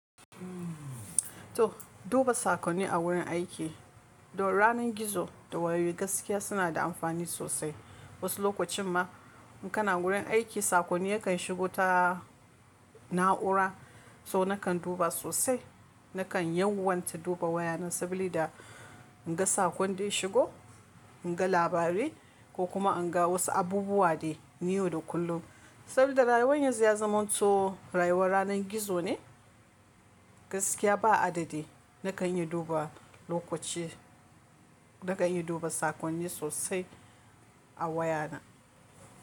To duba sakonni a wurin aiki don ranar gizo da wayoyi gaskiya suna da amfani sosai. Wasu lokacin ma in kana gurin aiki sakonni yakan shigo ta na'ura so nakan duba sosai. Nakan yanwanta duba wayana saboda in ga sakon da ya shigo, in ga labarai ko kuma in ga wasu abubuwa dai na yau da kullum. Sabida rayuwar yanzu ya zamanto rayuwar ranar gizo ne gaskiya ba adadi. Nakan yi duba lokaci, nakan yi duba sakonni sosai a wayana.